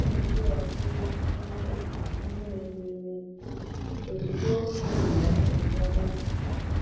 Ọ na-ekewapụ ihe ubi ndị mebiri emebi ozugbo e wetasịrị ya n'ubi.